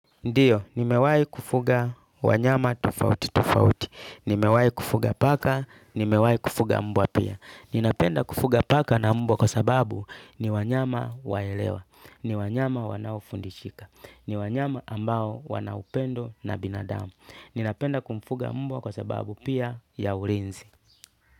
Ndiyo, nimewai kufuga wanyama tfauti tofauti. Nimewai kufuga paka, nimewai kufuga mbwa pia. Ninapenda kufuga paka na mbwa kwa sababu ni wanyama waelewa. Ni wanyama wanaufundishika. Ni wanyama ambao wanaupendo na binadamu. Ninapenda kumfuga mbwa kwa sababu pia ya ulinzi.